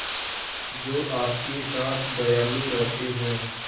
जो आपके साथ दयालु रहते हैं